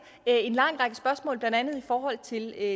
en lang række spørgsmål blandt andet i forhold til